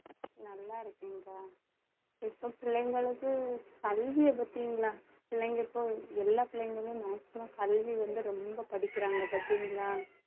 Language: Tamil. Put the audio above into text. நல்லா இருக்கேன்க்கா இப்போ பிள்ளைங்களுக்கு கல்வியை பாத்தீங்களா பிள்ளைங்க இப்போ எல்லா பிள்ளைங்களும் maximum கல்வி வந்து ரொம்ப படிக்கிறாங்க பாத்தீங்களா